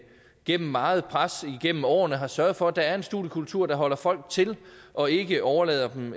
gennem meget pres igennem årene har sørget for at der er en studiekultur der holder folk til og ikke overlader dem